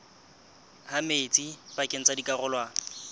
ha metsi pakeng tsa dikarolwana